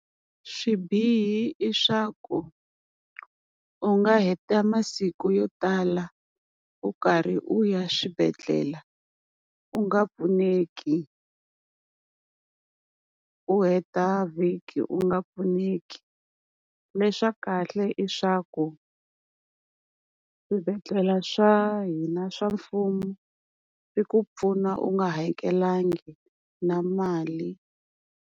Swibihi i swa ku u nga heta masiku yo tala u karhi u ya swibedhlele u nga pfuneki, u heta vhiki u nga pfuneki. Leswa kahle i swa ku swibedhlele swa hina swa mfumo swi ku pfuna u nga hakelangi na mali.